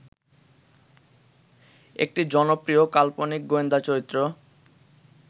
একটি জনপ্রিয় কাল্পনিক গোয়েন্দা চরিত্র